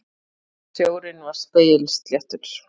Sjórinn var spegilsléttur.